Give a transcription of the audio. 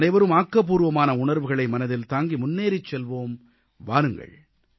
நாமனைவரும் ஆக்கப்பூர்வமான உணர்வுகளை மனதில் தாங்கி முன்னேறிச் செல்வோம் வாருங்கள்